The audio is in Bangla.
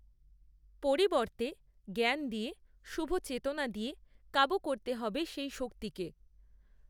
পরিবর্তে জ্ঞান দিয়ে, শুভ চেতনা দিয়ে, কাবু করতে হবে সেই শক্তিকে